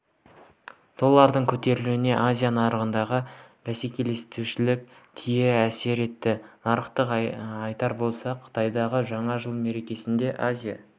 доллардың көтерілуіне азия нарығындағы бәсеңдеушілік тие әсер етті нақтырақ айтар болсақ қытайдағы жаңа жыл мерекесінде азия